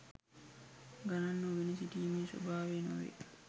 ගණන් නොගෙන සිටීමේ ස්වභාවය නොවේ.